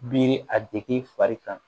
Biri a degi fari kan